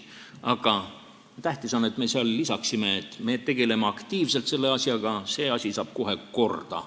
Aga tähtis on, et me lisaksime, et me aktiivselt selle asjaga tegeleme, see asi saab kohe korda.